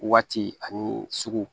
Waati ani sugu